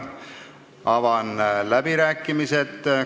Avan läbirääkimised.